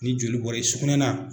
Ni joli bɔra i sukunɛ na.